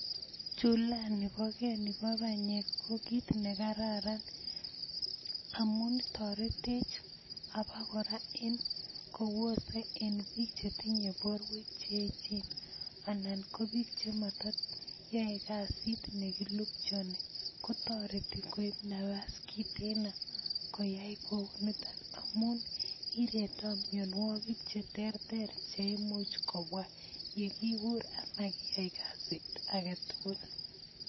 Chulani bo kee nibo banyek ko kiit nekararan amun toretech en obokora kobose en biik chetinye borwek cheechen anan ko biik chemotinye kasit nemokilupchoni kotoreti koib nabas kiteno koyai kouniton amun iretoo mionwokik cheterter cheimuch kobwa yekibur komakiyai kasit aketukul.